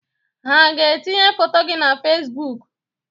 Ha aga-etinye foto gị na Fesibuuku?